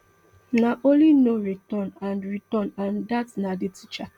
na only no return and return and dat na di teacher